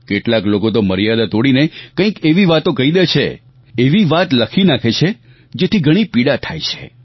કેટલાક લોકો તો મર્યાદા તોડીને કંઈક એવી વાતો કહી દે છે એવી વાત લખી નાખે છે જેથી ઘણી પીડા થાય છે